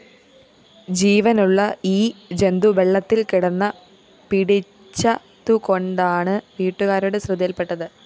ജീവനുള്ള ഈ ജന്തു വെള്ളത്തില്‍കിടന്ന പിടിച്ചതുകൊണ്ടാണ് വീട്ടുകാരുടെ ശ്രദ്ധയില്‍പ്പെട്ടത്